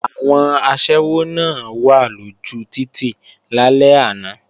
Àwọn aṣẹ́wó náà wà lójú títì lálẹ́ àná